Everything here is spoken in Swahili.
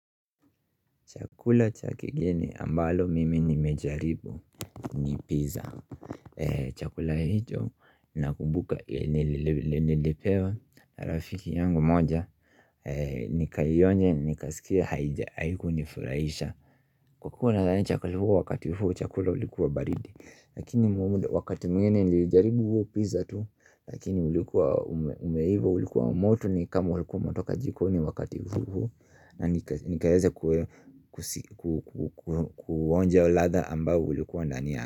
Chakula cha kigeni ambalo mimi nimejaribu ni pizza. Chakula hicho nakumbuka nilpewa rafiki yangu moja. Nikaionja nikasikia haikunifurahisha. Kwa kuwa nadhani chakula huu wakati huu chakula ulikuwa baridi. Lakini wakati mwingine nilijaribu huo pizza tu. Lakini ulikuwa umeiva ulikuwa moto ni kama ulikuwa umetoka jikoni wakati huu. Na nikaeza kuonja ladha ambao ulikuwa na nia.